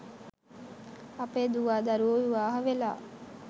අපේ දුවා දරුවෝ විවාහ වෙලා